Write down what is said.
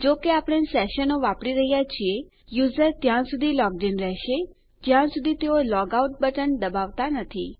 જો કે આપણે સેશનો વાપરી રહ્યા છીએ યુઝર ત્યાં સુધી લોગ્ડ ઇન રહેશે જ્યાં સુધી તેઓ લોગઆઉટ બટન દબાવતા નથી